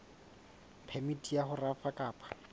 phemiti ya ho rafa kapa